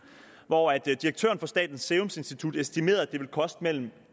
hvori direktøren for statens serum institut estimerede at det ville koste mellem